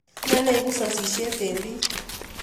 Ne neipu sosyet eng' piik?